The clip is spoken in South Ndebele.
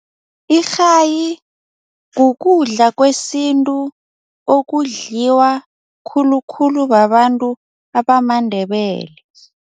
Irhayi kukudla kwesintu okudliwa khulukhulu babantu abamaNdebele.